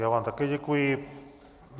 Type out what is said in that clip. Já vám také děkuji.